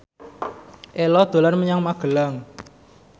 Ello dolan menyang Magelang